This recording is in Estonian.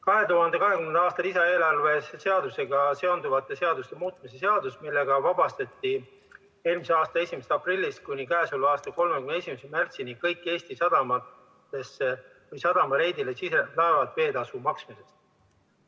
2020. aasta lisaeelarve seadusega seonduvate seaduste muutmise seadusega vabastati eelmise aasta 1. aprillist kuni käesoleva aasta 31. märtsini kõik Eesti sadamatesse või sadama reidile sisenevad laevad veetasu maksmisest.